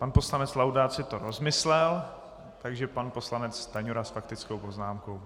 Pan poslanec Laudát si to rozmyslel, takže pan poslanec Stanjura s faktickou poznámkou.